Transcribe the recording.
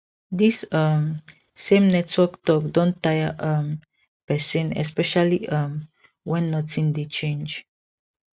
this um same network talk don tire um person especially um when nothing dey change